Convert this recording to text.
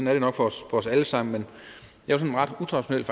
er det nok for os alle sammen jeg vil ret utraditionelt